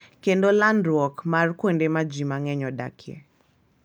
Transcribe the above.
Kendo landruok mar kuonde ma ji mang'eny odakie.